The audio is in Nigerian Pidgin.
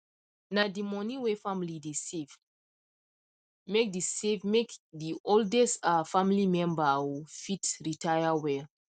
na the money whey family dey save make the save make the oldest um family member um fit retire well